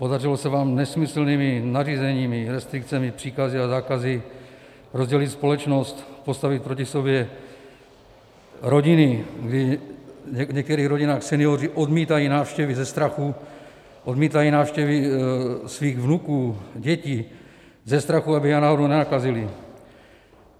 Podařilo se vám nesmyslnými nařízeními, restrikcemi, příkazy a zákazy rozdělit společnost, postavit proti sobě rodiny, kdy v některých rodinách senioři odmítají návštěvy ze strachu, odmítají návštěvy svých vnuků, dětí, ze strachu, aby je náhodou nenakazili.